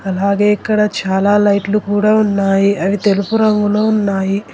అలాగే ఇక్కడ చాలా లైట్లు కూడా ఉన్నాయి అవి తెలుపు రంగులో ఉన్నాయి